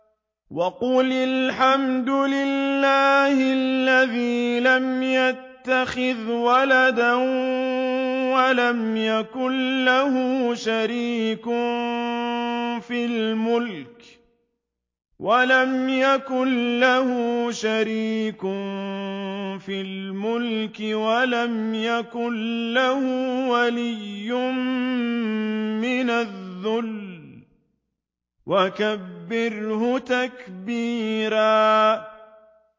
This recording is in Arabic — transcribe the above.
وَقُلِ الْحَمْدُ لِلَّهِ الَّذِي لَمْ يَتَّخِذْ وَلَدًا وَلَمْ يَكُن لَّهُ شَرِيكٌ فِي الْمُلْكِ وَلَمْ يَكُن لَّهُ وَلِيٌّ مِّنَ الذُّلِّ ۖ وَكَبِّرْهُ تَكْبِيرًا